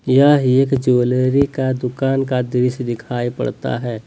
यह एक ज्वैलरी का दुकान का दृश्य दिखाई पड़ता हैं।